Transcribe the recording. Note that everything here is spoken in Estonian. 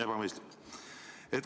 " Ebamõistlik!